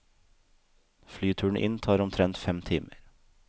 Flyturen inn tar omtrent fem timer.